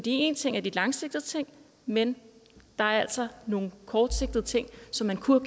en ting er de langsigtede ting men der er altså nogle kortsigtede ting som man kunne